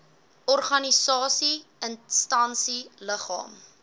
organisasie instansie liggaam